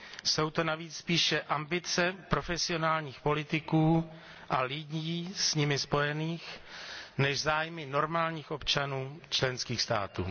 Jsou to navíc spíše ambice profesionálních politiků a lidí s nimi spojených než zájmy normálních občanů členských států.